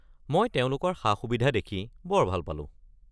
মই তেওঁলোকৰ সা-সুবিধা দেখি বৰ ভাল পালোঁ।